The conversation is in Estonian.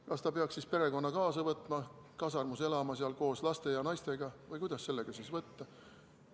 Kas ta peaks siis perekonna kaasa võtma, kasarmus elama koos laste ja naisega või kuidas seda siis võtta?